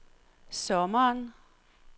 sommeren